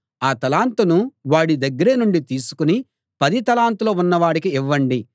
ఆ తలాంతును వాడి దగ్గర నుండి తీసుకుని పది తలాంతులు ఉన్నవాడికి ఇవ్వండి